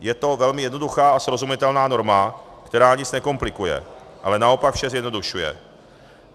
Je to velmi jednoduchá a srozumitelná norma, která nic nekomplikuje, ale naopak vše zjednodušuje.